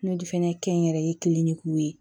N'o fɛnɛ kɛnyɛrɛ ye kilennenw ye